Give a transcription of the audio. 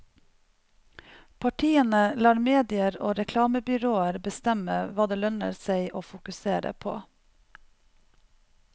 Partiene lar medier og reklamebyråer bestemme hva det lønner seg å fokusere på.